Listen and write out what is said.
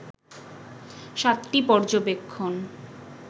সাতটি পর্যবেক্ষণ